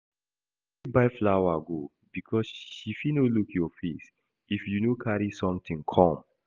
You fit buy flower go because she fit no look your face if you no carry something come